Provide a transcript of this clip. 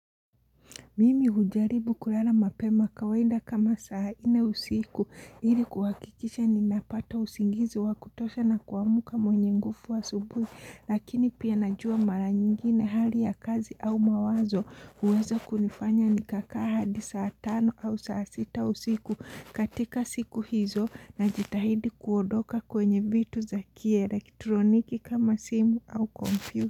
Mimi hujaribu kulala mapema kawaida kama saa nne usiku. Ili kuhakikisha ninapata usingizi wakutosha na kuamka mwenye nguvu asubuhi. Lakini pia najua mara nyingine hali ya kazi au mawazo. Huweza kunifanya nikakaa hadi saa tano au saa sita usiku katika siku hizo najitahidi kuondoka kwenye vitu za kielektroniki kama simu au computer.